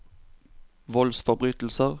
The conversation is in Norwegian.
voldsforbrytelser